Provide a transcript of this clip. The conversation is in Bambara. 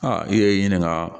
Aa i ye ɲininka